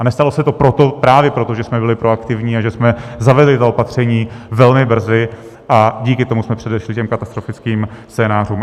A nestalo se to právě proto, že jsme byli proaktivní a že jsme zavedli ta opatření velmi brzy a díky tomu jsme předešli těm katastrofickým scénářům.